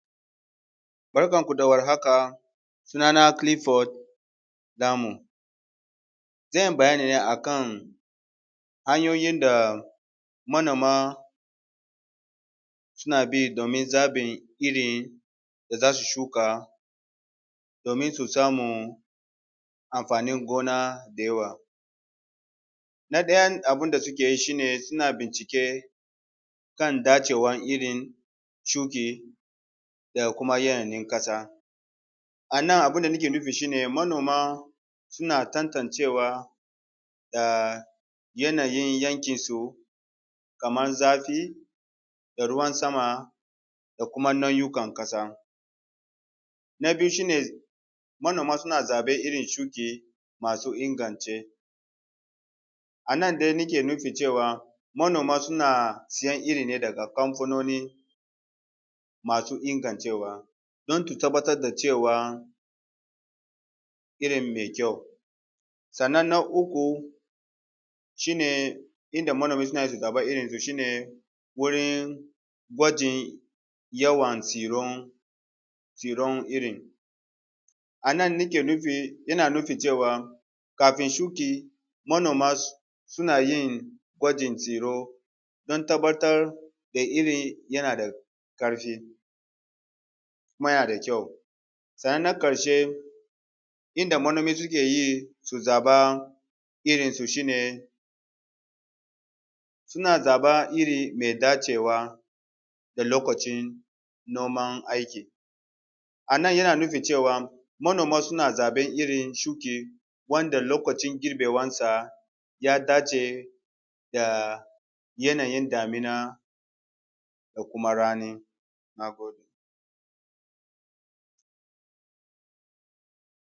Barkanku da warhaka sunana Clifford damo. Zan yi bayani ne akan hanyoyi da manoma suna bi domin zaɓin irin da za su shuka domin su samu amfanin gona da yawa. Na farko suna bincike kan dacewar irin da kuma yanayin ƙasa, a nan abun da nake nufi manoma suna tantance da yanayin yankinsu kamar zafi da ruwan sama da kuma nau'ikan ƙasa. Na biyu manoma suna zaɓan irin shuka iri masu inganci. Anan nake nufin cewa manoma suna sayen iri ne daga kamfanoni masu ingancewa don. Su tabbatar da cewa irin mai ƙyau ne. Kannan na uku idan manoma suna so gane irin shi ne wurin gwajin yawan tsiran irin. Anan nake nufin kafin shuka manoma suna yin gwajin ciro don tabbatar da irin yana da karfi kuma yana da ƙyau. Sannan na ƙarshe yadda manoma ke yi su zama irinsu shi ne suna zaban iri mai dacewa da lokacin noman aikin. A nan yana nufin cewa manoma suna zaɓan iri da lokacin girbewarsa ya dace da yanayin damina da kuma rani. Na gode.